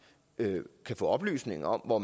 kan få oplysninger om hvor